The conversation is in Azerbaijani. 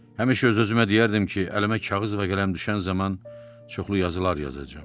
Həmişə öz-özümə deyərdim ki, əlimə kağız və qələm düşən zaman çoxlu yazılar yazacağam.